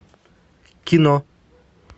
кино